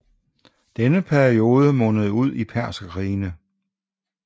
Denne periode mundede ud i Perserkrigene